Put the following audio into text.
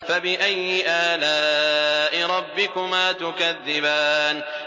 فَبِأَيِّ آلَاءِ رَبِّكُمَا تُكَذِّبَانِ